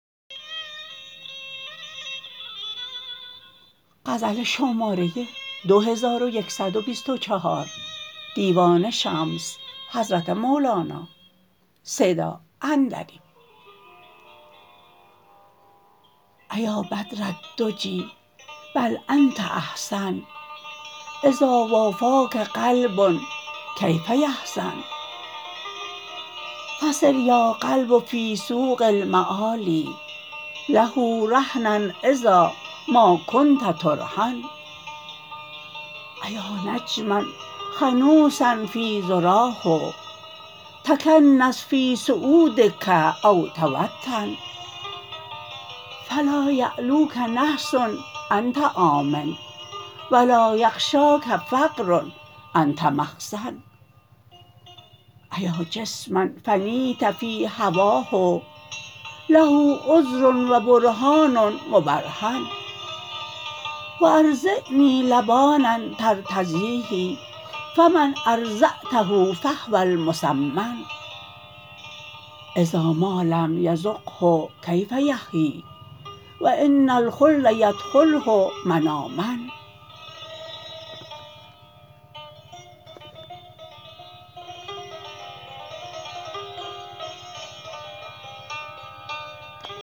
ایا بدر الدجی بل انت احسن اذا وافاک قلب کیف یحزن فصر یا قلب فی سوق المعالی له رهنا اذا ما کنت ترهن ایا نجما خنوسا فی ذراه تکنس فی صعودک او توطن فلا یعلوک نحس انت آمن و لا یغشاک فقر انت مخزن ایا جسما فنیت فی هواه له عذر و برهان مبرهن و ارضعنی لبانا ترتضیه فمن ارضعته فهو المسمن اذا ما لم یذقه کیف یحیی و ان الخلد یدخله من آمن